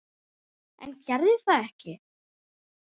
En gerði það ekki.